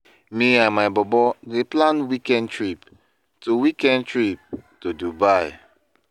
Me and my bobo dey plan weekend trip to weekend trip to Dubai.